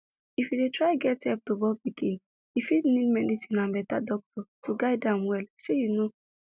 if you dey try get help to born pikin e fit need medicine and better doctor to guide em well shey you know